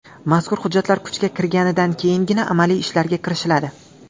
Mazkur hujjatlar kuchga kirganidan keyingina amaliy ishlarga kirishiladi.